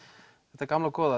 þetta gamla góða